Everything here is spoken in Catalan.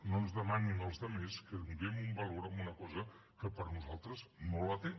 no ens demanin als altres que donem valor a una cosa que per a nosaltres no el té